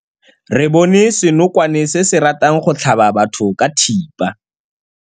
Re bone senokwane se se ratang go tlhaba batho ka thipa.